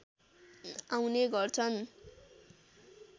आउने गर्छन्